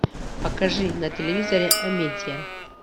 покажи на телевизоре амедиа